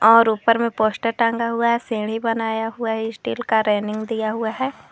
और ऊपर में पोस्टर टांगा हुआ है सीढ़ी बनाया हुआ स्टील का रेलिंग दिया हुआ है।